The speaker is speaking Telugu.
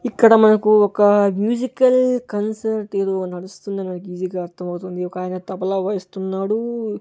ఇక్కడ మనకు ఒక మ్యూజికల్ కన్సర్ట్ ఏదో నడుస్తుందని మనకి ఈజీ గా అర్థమవుతుంది ఒక ఆయన తబలా వాయిస్తున్నాడు.